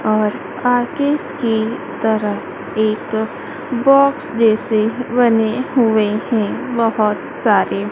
और आगे की तरफ एक बॉक्स जैसे बने हुए हैं बहोत सारे।